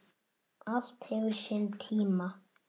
Allt hefur sinn tíma